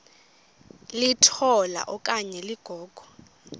litola okanye ligogo